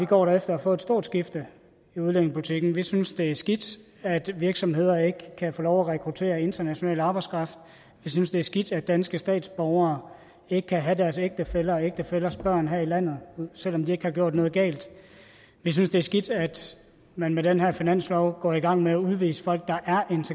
går efter at få et stort skifte i udlændingepolitikken vi synes det er skidt at virksomheder ikke kan få lov at rekruttere international arbejdskraft vi synes det er skidt at danske statsborgere ikke kan have deres ægtefæller og ægtefællers børn her i landet selv om de ikke har gjort noget galt vi synes det er skidt at man med den her finanslov går i gang med at udvise folk der